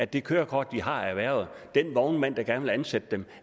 det kørekort de har erhvervet og den vognmand der gerne vil ansætte dem